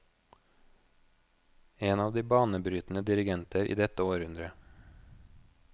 En av de banebrytende dirigenter i dette århundre.